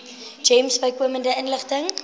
gems bykomende inligting